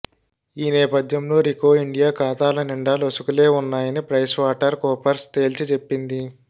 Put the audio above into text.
ఈ నేపధ్యంలో Ricoh India ఖాతాల నిండా లొసుగులే ఉన్నాయని ప్రైస్వాటర్ కూపర్స్ తేల్చిచెప్పింది